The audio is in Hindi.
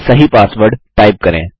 अब सही पासवर्ड टाइप करें